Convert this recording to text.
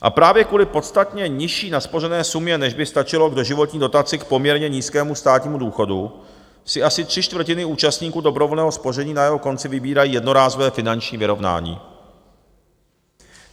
A právě kvůli podstatně nižší naspořené sumě, než by stačilo k doživotní dotaci k poměrně nízkému státnímu důchodu, si asi tři čtvrtiny účastníků dobrovolného spoření na jeho konci vybírají jednorázové finanční vyrovnání.